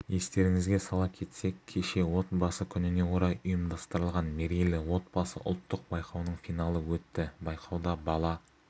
естеріңізге сала кетсек кеше отбасы күніне орай ұйымдастырылған мерейлі отбасы ұлттық байқауының финалы өтті байқауда бала